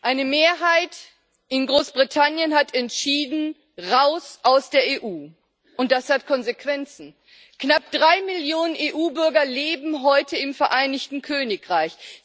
Eine Mehrheit in Großbritannien hat entschieden raus aus der EU. Und das hat Konsequenzen Knapp drei Millionen EU Bürger leben heute im Vereinigten Königreich.